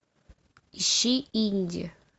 ищи индия